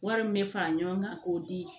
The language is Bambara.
Wari min bɛ fara ɲɔgɔn kan k'o di